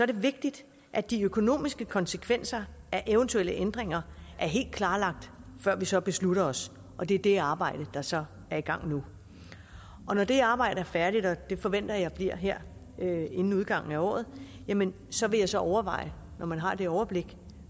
det vigtigt at de økonomiske konsekvenser af eventuelle ændringer er helt klarlagt før vi så beslutter os og det er det arbejde der så er i gang nu når det arbejde er færdigt og det forventer jeg bliver her inden udgangen af året jamen så vil jeg så overveje når man har det overblik